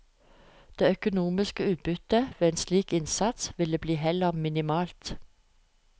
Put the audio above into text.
Det økonomiske utbyttet ved en slik innsats ville bli heller minimalt.